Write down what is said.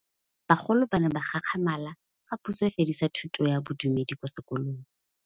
Bagolo ba ne ba gakgamala fa Pusô e fedisa thutô ya Bodumedi kwa dikolong.